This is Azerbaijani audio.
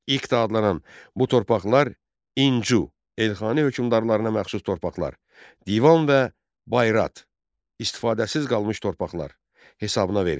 İqta adlanan bu torpaqlar İncü, Elxani hökmdarlarına məxsus torpaqlar, divan və bayrat istifadəsiz qalmış torpaqlar hesabına verilirdi.